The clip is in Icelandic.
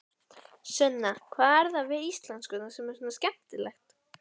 Sunna: Hvað er það við íslenskuna sem er svona skemmtilegt?